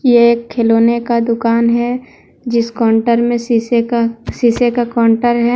ये एक खिलौने का दुकान है जीस काउंटर में शीशे का शीशे का काउंटर है।